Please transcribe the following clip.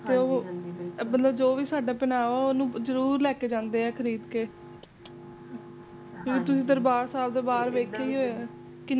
ਤੇ ਜੋ ਵੀ ਸਾਡਾ ਪਹਿਰਾਵਾ ਜ਼ਰੂਰ ਲੈ ਕੇ ਜਾਂਦੇ ਨੇ ਖ਼ਰੀਦ ਕੇ ਤੁਸੀਂ ਦਰਬਾਰ ਸਾਹਿਬ ਤੋਂ ਬਾਹਰ ਦੇਖਿਆ